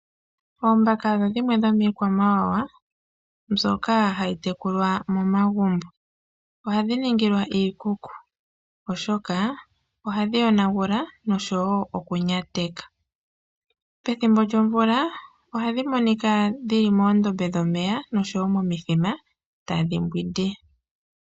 Oombaka odho shimwe dhomiikwamawawa mbyoka ha yi tekulwa momagumbo. Oha dhi ningilwa iikuku, oshoka oha dhi yonagula osho wo okunyateka. Pethimbo lyomvula, oha dhi monika moondombe dhomeya osho wo momithima, ta dhi mbwindi.